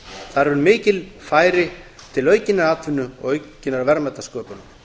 þar eru mikil færi til aukinnar atvinnu og aukinnar verðmætasköpunar